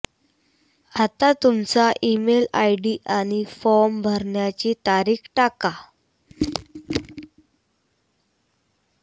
आता तुमचा email ID आणि फॉर्म भरण्याची तारीख टाका